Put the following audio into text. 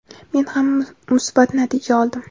men ham musbat natija oldim.